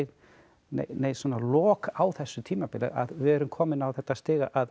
nein lok á þessu tímabili við erum komin á þetta stig að